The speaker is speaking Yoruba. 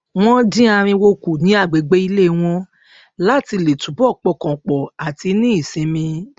wọn dín ariwo kù ní agbègbè ilé wọn láti lè túbọ pọkàn pọ àti ní ìsinmi